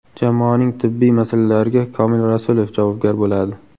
Jamoaning tibbiy masalalariga Komil Rasulov javobgar bo‘ladi.